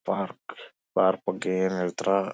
park park ಬಗ್ಗೆ ಏನ್ ಹೇಳ್ತೀರಾ--